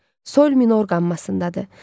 Sol minor qammasındadır.